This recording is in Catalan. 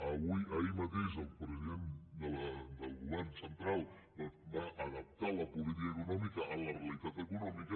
ahir mateix el president del govern central va adaptar la política eco·nòmica a la realitat econòmica